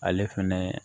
Ale fɛnɛ